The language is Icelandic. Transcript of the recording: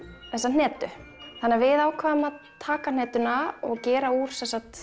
þessa hnetu þannig að við ákváðum að taka og gera úr